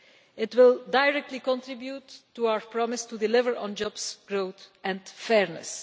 It will directly contribute to our promise to deliver on Jobs, Growth and Fairness.